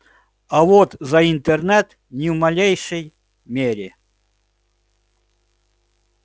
а вот за интернет ни в малейшей мере